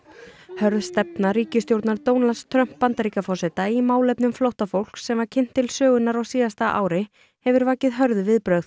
hörð stefna ríkisstjórnar Donalds Trump Bandaríkjaforseta í málefnum flóttafólks sem var kynnt til sögunnar á síðasta ári hefur vakið hörð viðbrögð